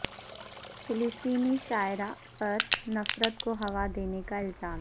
فلسطینی شاعرہ پر نفرت کو ہوا دینے کا الزام